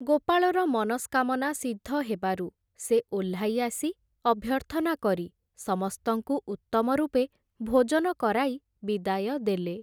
ଗୋପାଳର ମନସ୍କାମନା ସିଦ୍ଧ ହେବାରୁ ସେ ଓହ୍ଲାଇ ଆସି ଅଭ୍ୟର୍ଥନା କରି ସମସ୍ତଙ୍କୁ ଉତ୍ତମ ରୂପେ ଭୋଜନ କରାଇ ବିଦାୟ ଦେଲେ ।